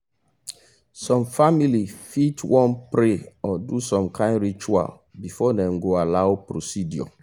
some famili fit wan pray or do some kind ritual before dem go allow any procedure